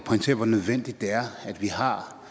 herre